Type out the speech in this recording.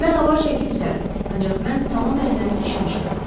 Mən avar çəkib üzərdim, ancaq mən tamam əldən düşmüşəm.